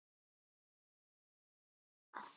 Þórmundur, hvað geturðu sagt mér um veðrið?